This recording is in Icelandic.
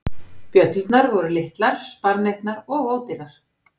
Bjöllurnar voru litlar, sparneytnar og ódýrar.